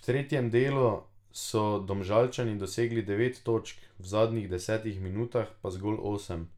V tretjem delu so Domžalčani dosegli devet točk, v zadnjih desetih minutah pa zgolj osem.